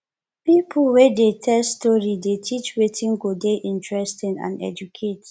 pipo wey dey tell story dey teach wetin go dey interesting and educate